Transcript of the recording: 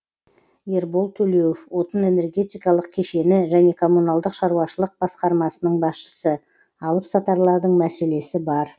ербол төлеуов отын энергетикалық кешені және коммуналдық шаруашылық басқармасының басшысы алып сатарлардың мәселесі бар